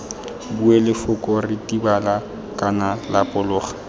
bue lefoko ritibala kana lapologa